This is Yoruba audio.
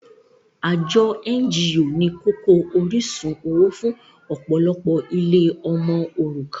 Àjọ NGO ni kókó orísun owó fún ọ̀pọ̀lọpọ̀ ilé ọmọ òrukàn